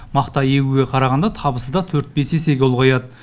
мақта егуге қарағанда табысы да төрт бес есеге ұлғаяды